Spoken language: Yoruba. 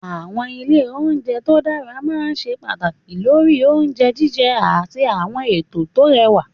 Àwọn ilé oúnjẹ tó dára máa ń ṣe pàtàkì lórí oúnjẹ jíjẹ àti àwọn ètò tó rẹwà.